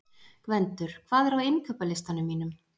Gvendur, hvað er á innkaupalistanum mínum?